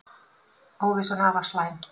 Óvissan afar slæm